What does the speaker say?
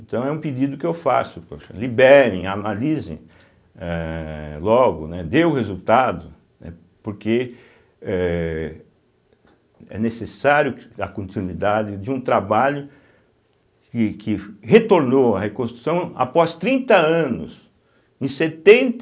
Então é um pedido que eu faço, poxa, liberem, analisem eh logo, né, dê o resultado, né, porque eh é necessário que a continuidade de um trabalho que que retornou a reconstrução após trinta anos, em setenta